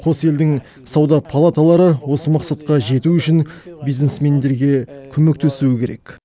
қос елдің сауда палаталары осы мақсатқа жету үшін бизнесмендерге көмектесуі керек